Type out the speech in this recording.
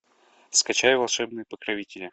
скачай волшебные покровители